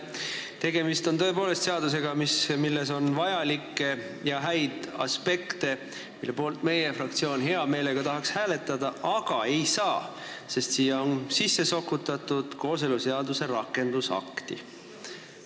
Tegemist on tõepoolest seadusega, milles on vajalikke ja häid aspekte, mille poolt meie fraktsioon hea meelega tahaks hääletada, aga ei saa, sest siia on sisse sokutatud kooseluseaduse rakendusaktiga seonduvat.